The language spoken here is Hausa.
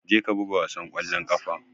Je ka buga wasan kwallon kafa!